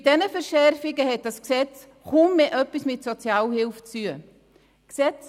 Mit diesen Verschärfungen hat das Gesetz kaum noch etwas mit Sozialhilfe zu tun.